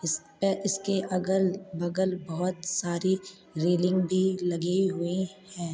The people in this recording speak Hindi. इस पे इसके अगल-बगल बहोत सारी रेलिंग भी लगी हुई हैं।